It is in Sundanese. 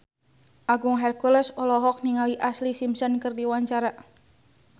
Agung Hercules olohok ningali Ashlee Simpson keur diwawancara